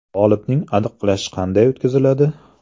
G‘olibni aniqlash qanday o‘tkaziladi?